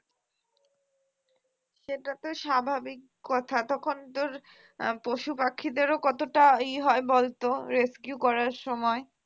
সেটা তো স্বাভাবিক কথা তখন তোর আহ পশুপাখিদেরও কতটা ই হয় বলতো rescue করার সময়